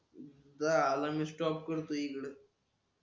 जा आता मी स्टॉप करतो इकड